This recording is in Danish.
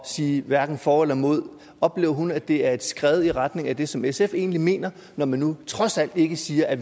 sige hverken for eller imod oplever hun at det er et skred i retning af det som sf egentlig mener når man nu trods alt ikke siger at